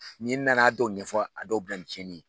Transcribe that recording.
N'i nana dɔw ɲɛfɔ a dɔw bi kɛ cɛnnin ye